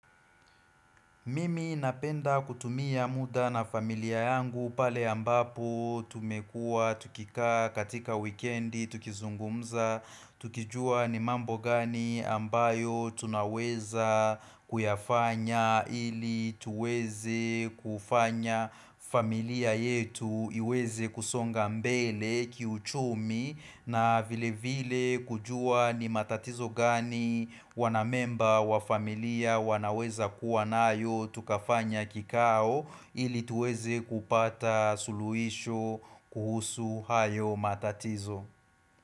Mimi napenda kutumia muda na familia yangu pale ambapo tumekua tukikaa katika wikendi tukizungumza Tukijua ni mambo gani ambayo tunaweza kuyafanya ili tuweze kufanya familia yetu iweze kusonga mbele kiuchumi na vile vile kujua ni matatizo gani wanamemba wa familia wanaweza kuwa nayo tukafanya kikao ili tuweze kupata suluisho kuhusu hayo matatizo.